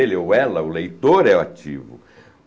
ou ela, o leitor, é o ativo.